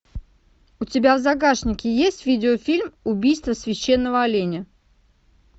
у тебя в загашнике есть видеофильм убийство священного оленя